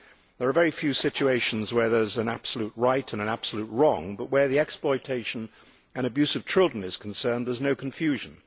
There are very few situations where there is an absolute right and an absolute wrong, but where the exploitation and abuse of children is concerned there is no confusion.